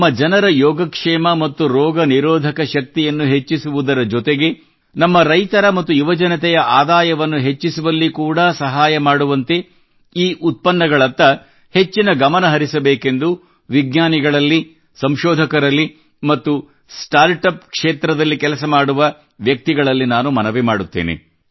ನಮ್ಮ ಜನರ ಯೋಗಕ್ಷೇಮ ಮತ್ತು ರೋಗನಿರೋಧಕ ಶಕ್ತಿಯನ್ನು ಹೆಚ್ಚಿಸುವುದರ ಜೊತೆಗೆ ನಮ್ಮ ರೈತರ ಮತ್ತು ಯುವಜನತೆಯ ಆದಾಯವನ್ನು ಹೆಚ್ಚಿಸುವಲ್ಲಿ ಕೂಡಾ ಸಹಾಯ ಮಾಡುವ ರೀತಿ ಈ ಉತ್ಪನ್ನಗಳತ್ತ ಹೆಚ್ಚಿನ ಗಮನ ಹರಿಸಬೇಕೆಂದು ವಿಜ್ಞಾನಿಗಳಲ್ಲಿ ಸಂಶೋಧಕರಲ್ಲಿ ಮತ್ತು ಸ್ಟಾರ್ಟ್ ಅಪ್ ಕ್ಷೇತ್ರದಲ್ಲಿ ಕೆಲಸ ಮಾಡುವ ವ್ಯಕ್ತಿಗಳಲ್ಲಿ ಮನವಿ ಮಾಡುತ್ತೇನೆ